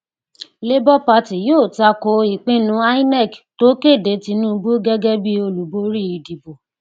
labour party yóò tako ìpinnu inec tó kéde tinubu gẹgẹ bí olùbórí ìdìbò